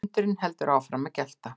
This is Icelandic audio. Hundurinn heldur áfram að gelta.